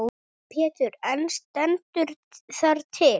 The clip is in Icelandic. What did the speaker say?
Pétur: En stendur það til?